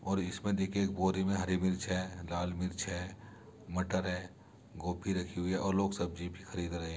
और इसमें देखिए एक बोरी में हरी मिर्च है लाल मिर्च है मटर है। गोभी रखी हुई है और लोग सब्जी भी खरीद रहे --